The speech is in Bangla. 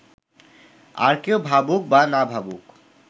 আর কেউ ভাবুক বা না ভাবুক